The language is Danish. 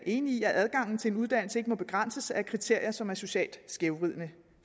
enige i at adgangen til en uddannelse ikke må begrænses af kriterier som er socialt skævvridende